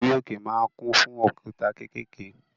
Orí òkè ma ń kún fún òkúta kékèké